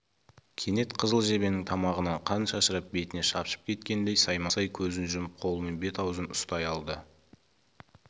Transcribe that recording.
кенет қызыл жебенің тамағынан қан шашырап бетіне шапшып кеткендей саймасай көзін жұмып қолымен бет-аузын ұстай алды